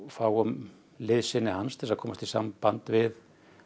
fáum liðsinni hans til að komast í samband við